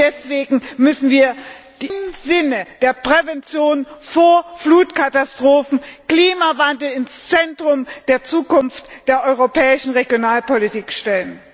Deswegen müssen wir im Sinne der Prävention von Flutkatastrophen den Klimawandel ins Zentrum künftigen der europäischen Regionalpolitik stellen!